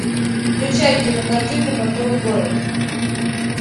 включай кинокартинку портовый город